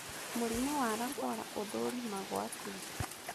Mũrimũ wa Lafora ũthũrimagwo atĩa?